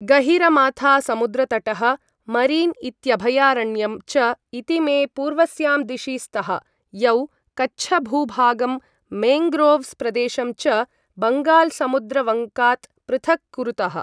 गहिरमाथासमुद्रतटः, marine इत्यभयारण्यं च इतीमे पूर्वस्यां दिशि स्तः, यौ कच्छभूभागं मेन्ग्रोव्स् प्रदेशं च बङ्गाल समुद्रवङ्कात् पृथक् कुरुतः।